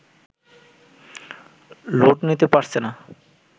load নিতে পারছে না